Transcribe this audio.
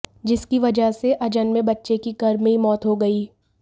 जिसकी वजह से अजन्में बच्चे की गर्भ में ही मौत हो गई